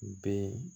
Ben